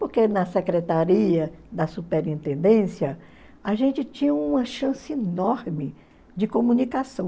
Porque na secretaria da superintendência, a gente tinha uma chance enorme de comunicação.